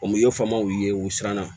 O miyɔfamaw ye u siranna